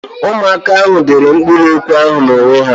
Ụmụaka ahụ dere mkpụrụokwu ahụ n'onwe ha.